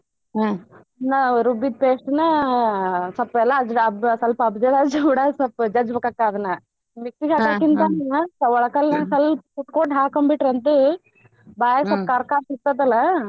ನಾ ರುಬ್ಬಿದ್ದ್ paste ನ ಸ್ವಲ್ಪ ಸ್ವಲ್ಪ ಜಜ್ಜ್ಬೇಕಾಗ್ತದೇ ಅದನ್ನ ಒಳಕಲ್ಲಿನ್ಯಾಗ ಸ್ವಲ್ಪ ಕುಟ್ಕೊಂಡ್ ಹಾಕೊಂಡ್ ಬಿಟ್ಟರಂತ್ರು ಬಾಯಾಗ ಸ್ವಲ್ಪ ಖಾರ್ ಖಾರ್ ಸಿಕ್ತದಲ್ಲ.